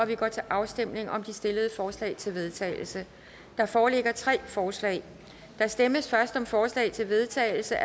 vi går til afstemning om de stillede forslag til vedtagelse der foreligger tre forslag der stemmes først om forslag til vedtagelse